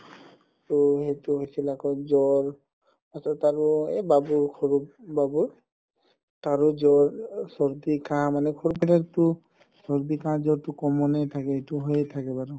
তৌ সেইটো হৈছিল আকৌ জ্বৰ তাৰ পাছত আৰু বাবু সৰু বাবুৰ তাৰো জ্বৰ চৰদি কাহ মানে চৰদি কাহ জ্বৰতো common য়ে থাকে এইটো হয়ে থাকে বাৰু